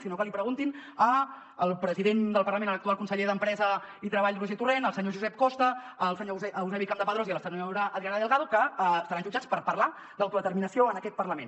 si no que l’hi preguntin al president del parlament a l’actual conseller d’empresa i treball roger torrent al senyor josep costa al senyor euse·bi campdepadrós i a la senyora adriana delgado que seran jutjats per parlar d’auto·determinació en aquest parlament